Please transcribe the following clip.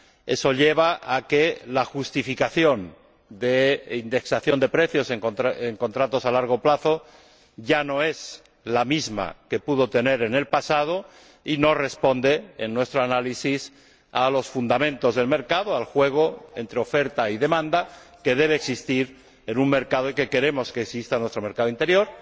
Eso lleva a que la justificación de la indexación de precios en los contratos a largo plazo ya no es la misma que en el pasado y no responde, según nuestro análisis, a los fundamentos del mercado, al juego entre oferta y demanda que debe existir en un mercado y que queremos que exista en nuestro mercado interior.